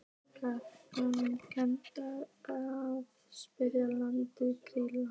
Gæfa, kanntu að spila lagið „Grýla“?